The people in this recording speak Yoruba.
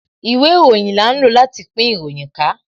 Ìwé ìròyìn là ń lò láti pín ìròyìn ká